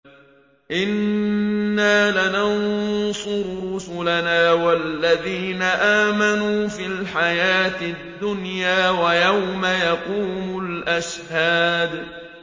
إِنَّا لَنَنصُرُ رُسُلَنَا وَالَّذِينَ آمَنُوا فِي الْحَيَاةِ الدُّنْيَا وَيَوْمَ يَقُومُ الْأَشْهَادُ